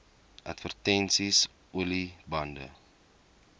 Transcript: advertensies olie bande